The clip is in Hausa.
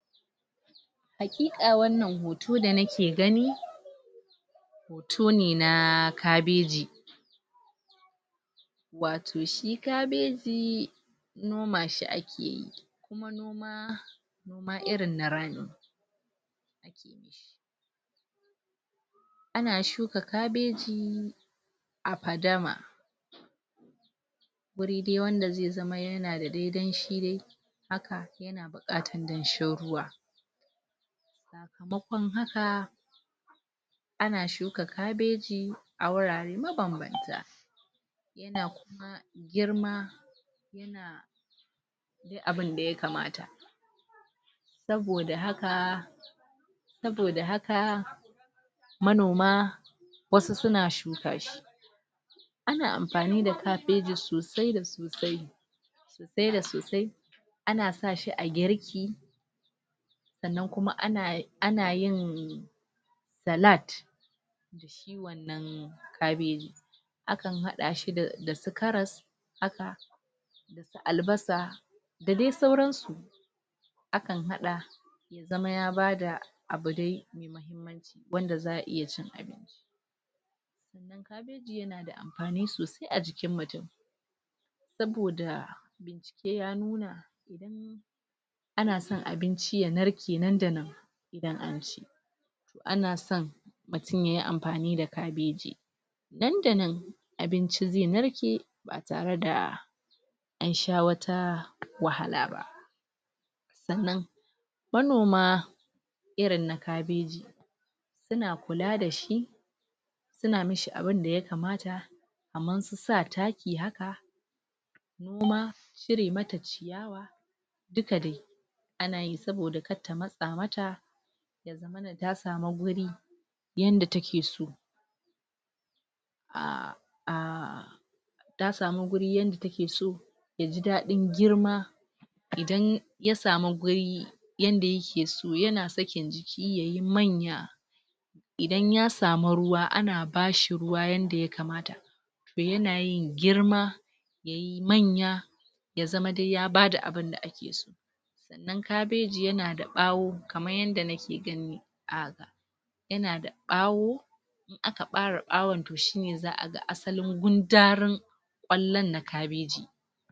Haƙiƙa wannan hoto da nake gani hoto ne na kabeji wato shi kabeji noma shi a ke yi? amma irin na rani ana shuka kabeji a fadama wuri dai wanda zai zama yana dai danshi dai haka? danshin ruwa makon haka ana shuka kabeji a wurare mabanbanta? girma abun da yakamata saboda haka saboda haka manoma wasu suna shuka shi ana amfani da kabeji sodai da sosai sai da su dai a na sa shi a girki sannan kuma a na yin salad na kabeji a kan haɗa shi da su karas haka albasa da dai sauran su a kan haɗa zama dai ya bada abu dai wanda za a iya ci amfani sosai a jikin mutum saboda sai ya nuna a na son abinci ya narke nan da nan?? a na son mutum yayi amfani da kabeji nan da nan abinci zai narke ba tare da an sha wata wahala ba sannan manoma irin na kabeji suna kula da shi suna mishi abinda ya kamata kamar su sa taki haka kuma cire mata? duka dai a nayi saboda kar ta matsa mata da ta samu guri yanda take so????? ta samu guri yanda takeso yaji daɗin girma idan ya samu guri yanda yakeso yana sakin jiki yayi manya idan ya sami ruwa ana bashi ruwa yanda yakamata yana yin girma yayi manya ya zama dai ya bada abunda ake so in kabeji yanada ɓawo kamar yadda na ke gani a yanada ɓawo aka ɓare ɓawon shiine to za a ga asalin gundarin ƙwallon na kabeji